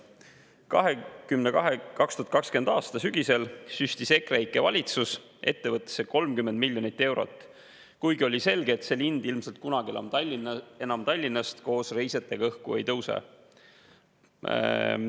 2020. aasta sügisel süstis EKREIKE valitsus ettevõttesse 30 miljonit eurot, kuigi oli selge, et see lind ilmselt kunagi enam Tallinnast koos reisijatega õhku ei tõuse.